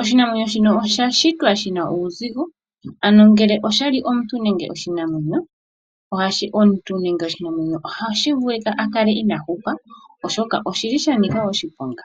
oshinamwenyo shino osha shitwa shina uuzigo ano ngele oshali omuntu nenge oshinamwenyo, ohashi vulu shi kale inaashi hupa oshoka oshili sha nika oshiponga.